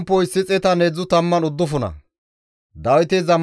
Abeet GODAWU! Neni tana pilgga eradasa.